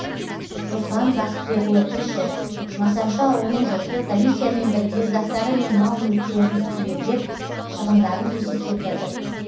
руслан бақытбекұлы тілші масаншы ауылының жұрты комиссиямен бірге заттары мен мал мүлікерін түгендеп шығындарын есептеп жатыр